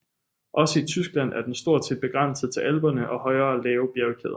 Også i Tyskland er den stort set begrænset til Alperne og højere lave bjergkæder